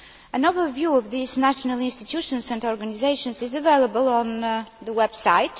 An overview of these national institutions and organisations is available on the website.